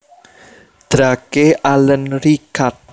Drake Allen Richard